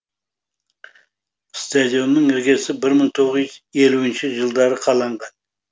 стадионның іргесі бір мың тоғыз жүз елуінші жылдары қаланған